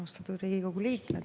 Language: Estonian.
Austatud Riigikogu liikmed!